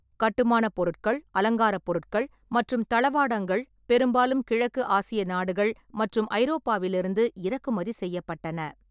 கட்டுமானப் பொருட்கள், அலங்கார பொருட்கள் மற்றும் தளவாடங்கள் பெரும்பாலும் கிழக்கு ஆசிய நாடுகள் மற்றும் ஐரோப்பாவிலிருந்து இறக்குமதி செய்யப்பட்டன.